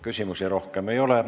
Küsimusi rohkem ei ole.